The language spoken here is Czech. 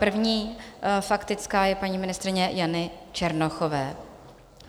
První faktická je paní ministryně Jany Černochové.